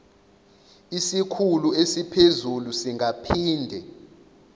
isikhulu esiphezulu singaphinde